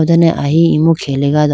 dane ahi emu khelega do.